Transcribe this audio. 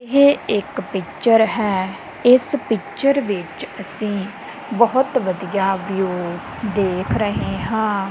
ਇਹ ਇੱਕ ਪਿਚਰ ਹੈ ਇਸ ਪਿਚਰ ਵਿੱਚ ਅਸੀਂ ਬਹੁਤ ਵਧੀਆ ਵਿਊ ਦੇਖ ਰਹੇ ਹਾਂ।